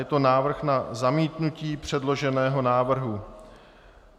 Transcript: Je to návrh na zamítnutí předloženého návrhu.